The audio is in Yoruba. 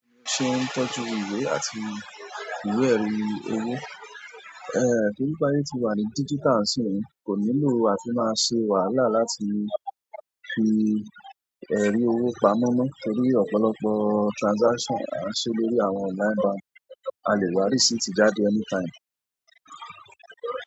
Ṣé ó ń tọ́jú ìwé àti ìwé-ẹ̀rí owó? Torí pé aye ti wà ní digital nisinyii, kò nílò àti máa ṣe wàhálà láti fi ẹ̀rí owó pamọ́ mọ́ torí ọ̀pọ̀lọpọ̀ transaction à ń ṣe lórí àwọn online bank, a lè wá receipt jáde anytime.